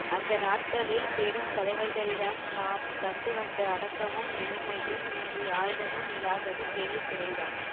அந்த நாட்களில் பெரும் தலைவர்களிடம் நாம் கண்டு வந்த அடக்கமும் எளிமையும் இன்று யாரிடமும் இல்லாதது பெரிய குறைதான்